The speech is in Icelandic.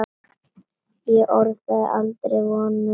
Ég orðaði aldrei vonir mínar.